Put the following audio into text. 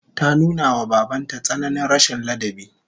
Ta nuna wa baban ta tsananin rashin ladabi